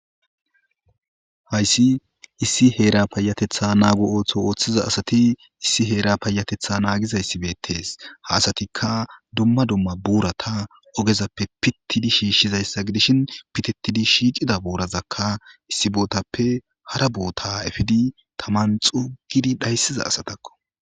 Hayssi issi heera payatetha naagu ooththo ooththiza asati issi heera payatetha naagizayssibetees haasatikka dumma dumma buurata ogezappe pittidi shiishshizayssa gidishin pitettidi shiiqida buurazakka issi bootappe hara boota efidi taman xugidi dhayssiza asatakko.